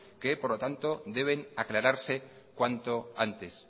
que deben aclararse cuanto antes